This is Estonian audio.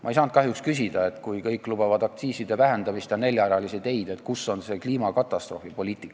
Ma ei saanud kahjuks küsida, et kui kõik lubavad aktsiiside vähendamist ja neljarealisi teid, siis kus on kliimakatastroofipoliitika.